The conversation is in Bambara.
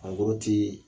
A bɔrɔ ti